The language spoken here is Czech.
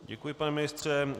Děkuji, pane ministře.